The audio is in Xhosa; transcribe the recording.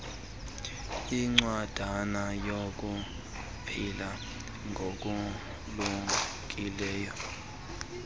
incwadana yokuphila ngokulumkileyo